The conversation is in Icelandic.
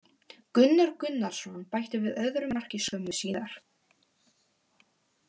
Gunnar Gunnarsson bætti við öðru marki skömmu síðar.